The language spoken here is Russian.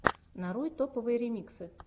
нарой топовые ремиксы